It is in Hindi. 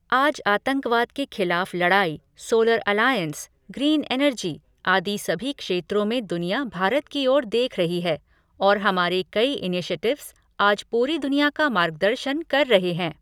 आज आतंकवाद के खिलाफ़ लड़ाई, सोलर अलायंस, ग्रीन एनर्जी, आदि सभी क्षेत्रों में दुनिया भारत की ओर देख रही है और हमारे कई इनीशेटिव्स आज पूरी दुनिया का मार्गदर्शन कर रहे हैं।